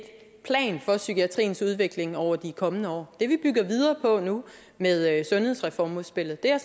plan for psykiatriens udvikling over de kommende år det vi bygger videre på nu med sundhedsreformudspillet er